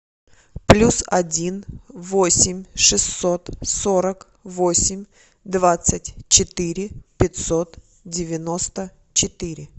плюс один восемь шестьсот сорок восемь двадцать четыре пятьсот девяносто четыре